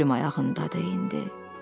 Ölüm ayağındadır indi.